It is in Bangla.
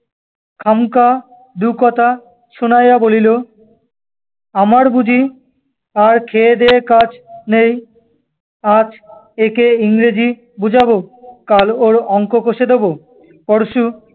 খামোখা দুকথা শুনাইয়া বলিল, আমার বুঝি আর খেয়ে দেয়ে কাজ নেই? আজ এঁকে ইংরেজি বোঝাব, কাল ওর অঙ্ক কষে দেব, পরশু